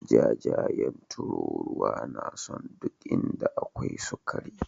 Jajayen tururuwa na son duk inda akwai sukari.